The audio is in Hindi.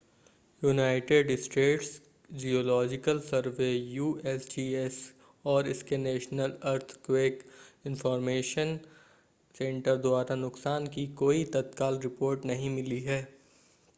United States Geological Survey USGS और इसके नेशनल अर्थक्वेक इंन्फ़ॉर्मेशन सेंटर द्वारा नुकसान की कोई तत्काल रिपोर्ट नहीं मिली है